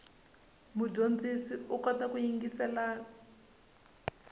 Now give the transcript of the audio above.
mudyondzi u kota ku yingiselela